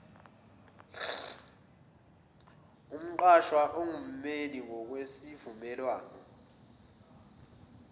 umqashwa engummeli ngokwesivumelwano